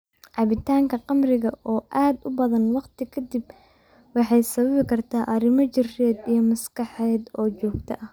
Cabitaanka khamriga oo aad u badan waqti ka dib waxay sababi kartaa arrimo jireed iyo maskaxeed oo joogto ah.